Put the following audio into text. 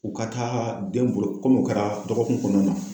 U ka taa denw bolo kom'u kɛra dɔgɔkun kɔnɔna na.